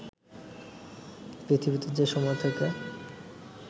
পৃথিবীতে যে সময় থেকে